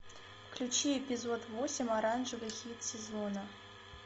включи эпизод восемь оранжевый хит сезона